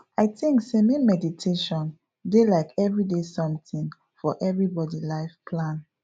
i think sey make meditation dey like everyday something for everybody life plan